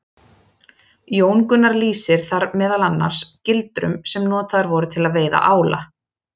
Jón Gunnar lýsir þar meðal annars gildrum sem notaðar voru til að veiða ála.